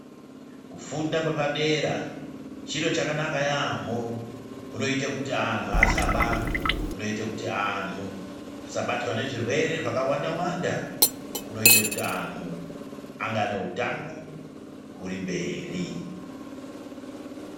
Kufunda kwepadera chiro chakanaka yaamho, kunoita kuti anhu asaba, kunoita kiti anhu asabatwa nezvirwere zvakawanda wanda, kunoita kuti anhu ange ane utano huri mberi.